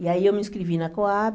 E aí eu me inscrevi na Coab.